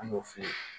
An y'o f'i ye